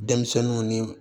Denmisɛnninw ni